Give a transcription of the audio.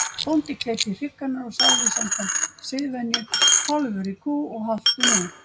Bóndi kleip í hrygg hennar og sagði samkvæmt siðvenju: Kálfur í kú og haltu nú.